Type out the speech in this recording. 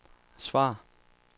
svar